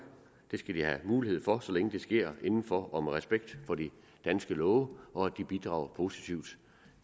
skal have mulighed for så længe det sker inden for og med respekt for de danske love og så længe de bidrager positivt